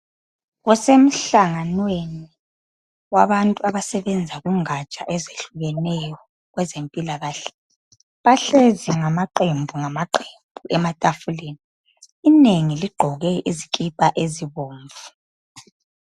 Kusemhlanganweni wabantu abasebenza kungatsha ezehlukeneyo kwezempilakahle bahlezi ngmaaqembungamaqembu ematafuleni inengi ligqoke izikipa ezibomvu.